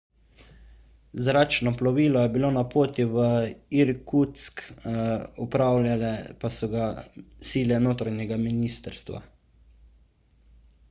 zračno plovilo je bilo na poti v irkutsk upravljale pa so ga sile notranjega ministrstva